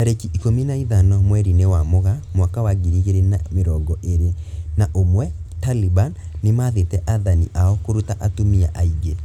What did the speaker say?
Tarĩki ikumi na ithano mweri-inĩ wa Mũgaa mwaka wa ngiri igĩrĩ na mĩrongo ĩrĩ na ũmwe, Taliban nĩmathĩte athani ao kũruta atumia aingĩ